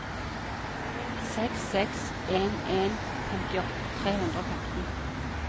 seks seks en en femtiåtte tre hundre og femten